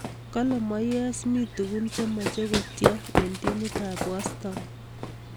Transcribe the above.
Kalee moyees mii tugun che machei kotiem eng timiit ab westaam